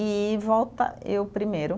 E volta eu primeiro.